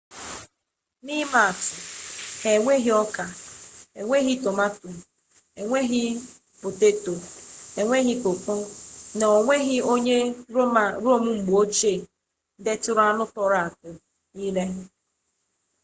na imaatu ha enweghi oka nweghi tomato nweghi poteto nweghi koko na onweghi onye rome mgbeochie deturu anu toro-toro ire